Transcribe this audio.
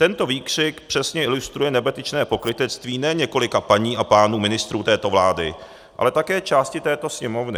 Tento výkřik přesně ilustruje nebetyčné pokrytectví ne několika paní a pánů ministrů této vlády, ale také části této Sněmovny.